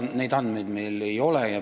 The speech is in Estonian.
Niisuguseid andmeid meil ei ole.